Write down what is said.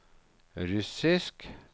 russisk